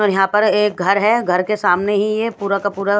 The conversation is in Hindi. और यहाँ पर एक घर है घर के सामने ही ये पूरा का पूरा --